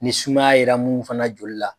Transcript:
Ni sumaya yera munnu fana joli la.